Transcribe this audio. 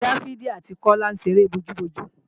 Dáfídì àti Kọ́lá ń ṣeré bojú-bojú